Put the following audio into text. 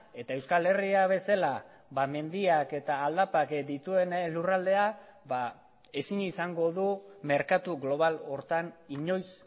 eta euskal herria bezala mendiak eta aldapak dituen lurraldea ezin izango du merkatu global horretan inoiz